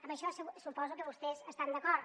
amb això suposo que vostès estan d’acord